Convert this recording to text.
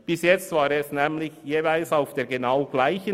Bisher waren sie genau gleich: